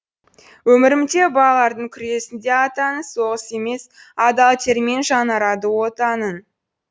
өмірінде балалардың күресінде атаның соғыс емес адал термен жаңарады отаның